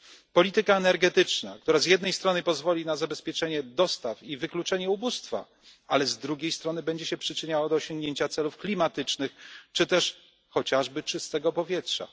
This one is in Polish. polityka energetyczna, która z jednej strony pozwoli na zabezpieczenie dostaw i wykluczenie ubóstwa, ale z drugiej strony będzie się przyczyniała do osiągnięcia celów klimatycznych czy też chociażby czystego powietrza.